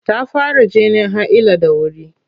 Ta fara jinin haila da wuri.